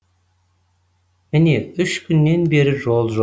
міне үш күннен бері жол жоқ